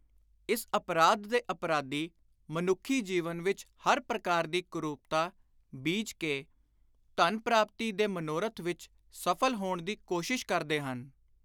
ਇਸ ਅਪਰਾਧ ਦੇ ਅਪਰਾਧੀ, ਮਨੁੱਖੀ ਜੀਵਨ ਵਿਚ ਹਰ ਪ੍ਰਕਾਰ ਦੀ ਕੁਰੁਪਤਾ · ਬੀਜ ਕੇ, ਧਨ ਪ੍ਰਾਪਤੀ ਦੇ ਮਨੋਰਥ ਵਿਚ ਸਫਲ ਹੋਣ ਦੀ ਕੋਸ਼ਿਸ਼ ਕਰਦੇ ਹਨ।